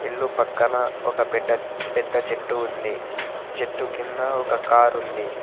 ఇల్లు పక్కన ఒక పెట్ట పెద్ద చెట్టు ఉంది చెట్టు కింద ఒక కారు ఉంది.